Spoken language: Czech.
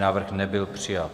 Návrh nebyl přijat.